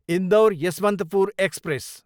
Indore, Yesvantpur express